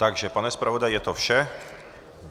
Takže pane zpravodaji, je to vše.